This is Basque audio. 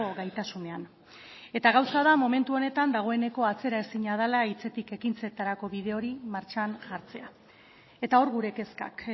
gaitasunean eta gauza da momentu honetan dagoeneko atzeraezina dela hitzetik ekintzetarako bide hori martxan jartzea eta hor gure kezkak